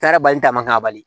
Kɛra bali taama bali